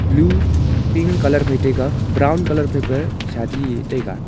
blue pink colour phai taiga brown colour phai pa sadi e taiga.